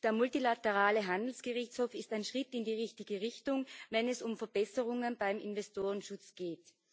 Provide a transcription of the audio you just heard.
Der multilaterale Handelsgerichtshof ist ein Schritt in die richtige Richtung, wenn es um Verbesserungen beim Investorenschutz geht.